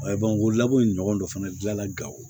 o labɔ in ɲɔgɔn dɔ fana dila gawo